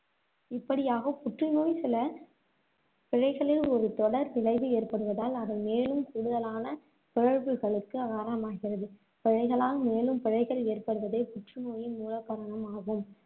இப்படியாக புற்றுநோய் சில பிழைகளில் ஒரு தொடர் விளைவு ஏற்படுவதால், அவை மேலும் கூடுதலான காரணமாகிறது. பிழைகளால் மேலும் பிழைகள் ஏற்படுவதே புற்றுநோயின் மூல காரணம் ஆகும்,